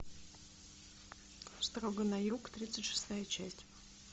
строго на юг тридцать шестая часть